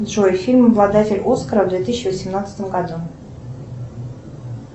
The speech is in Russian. джой фильм обладатель оскара в две тысячи восемнадцатом году